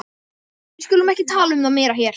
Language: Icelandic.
Við skulum ekki tala um það meira hér.